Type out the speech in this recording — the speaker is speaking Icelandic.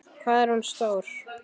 Hvað er hún stór?